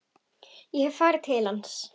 Ég hef farið til hans.